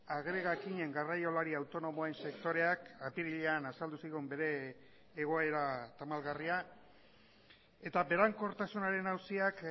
agregakinen garraiolari autonomoen sektoreak apirilean azaldu zigun bere egoera tamalgarria eta berankortasunaren auziak